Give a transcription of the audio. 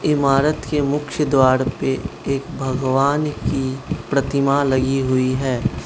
इमारत के मुख्य द्वार पे एक भगवान की प्रतिमा लगी हुई है।